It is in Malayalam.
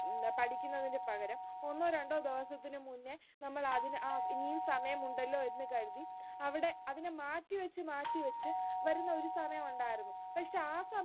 ഉം പഠിക്കുന്നതിന്റെ പകരം ഒന്നോ രണ്ടോ ദിവസത്തിനു മുന്നേ, നമ്മൾ അതിന് അഹ് ഇനിയും സമയമുണ്ടല്ലോ എന്ന് കരുതി അവിടെ അതിന് മാറ്റിവെച്ച് മാറ്റിവെച്ച് വരുന്ന ഒരു സമയം ഉണ്ടായിരുന്നു പക്ഷേ ആ സമയം